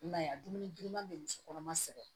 I m'a ye a dumuni girinman bɛ musokɔnɔma sɛgɛn